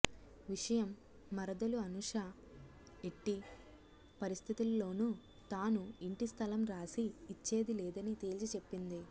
విషయం మరదలు అనుషా ఎట్టి పరిస్థితుల్లోను తాను ఇంటి స్థలం రాసి ఇచ్చేది లేదని తెల్చి చెప్పింది